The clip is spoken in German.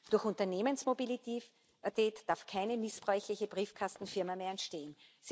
Durch Unternehmensmobilität darf keine missbräuchliche Briefkastenfirma mehr entstehen.